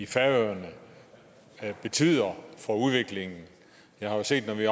færøerne betyder for udviklingen jeg har set når vi